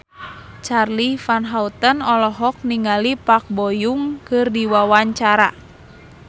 Charly Van Houten olohok ningali Park Bo Yung keur diwawancara